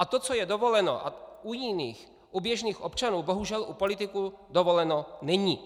A to, co je dovoleno u jiných, u běžných občanů, bohužel u politiků dovoleno není.